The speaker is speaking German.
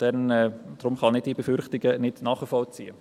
Deshalb kann ich diese Befürchtungen nicht nachvollziehen.